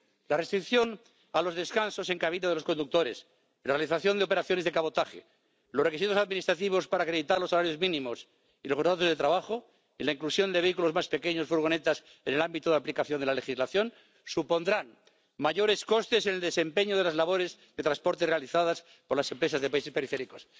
La restricción a los descansos en cabina de los conductores, la realización de operaciones de cabotaje, los requisitos administrativos para acreditar los salarios mínimos y los contratos de trabajo, y la inclusión de vehículos más pequeños —furgonetas— en el ámbito de aplicación de la legislación supondrán mayores costes en el desempeño de las labores de transporte realizadas por las empresas de países periféricos.